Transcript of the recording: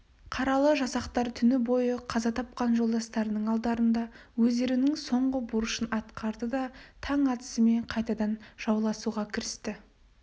қаралы жасақтар түні бойы қаза тапқан жолдастарының алдарында өздерінің соңғы борышын атқарды да таң атысымен қайтадан жауласуға кірісті